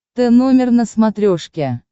тномер на смотрешке